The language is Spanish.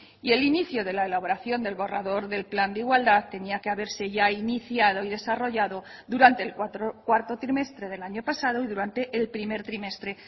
y el inicio de la elaboración del borrador del plan de igualdad tenía que haberse ya iniciado y desarrollado durante el cuarto trimestre del año pasado y durante el primer trimestre